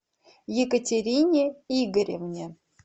екатерине игоревне